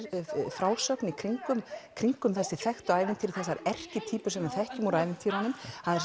frásögn kringum kringum þessi þekktu ævintýri þessar erkitýpur sem við þekkjum úr ævintýrunum